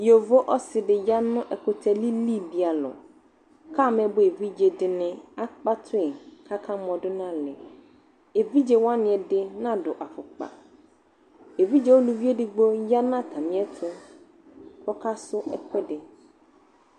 Yovo ɔse se ya no ɛkutɛ lili de alɔ ka amɛbɔ evidze de ne akpatoe kaka mɔ do no umɛ Evidze wane ɛde ne nado afokpa Evidze uluvi edigbo ya na atame ɛto kɔla su asɛ de